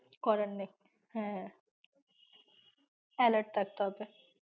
কিছু করার নেই হ্যাঁ alert থাকতে হবে।